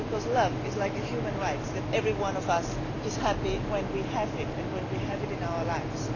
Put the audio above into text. Love is like a human right every one of us is happy when we have it, and when we have it in our lives.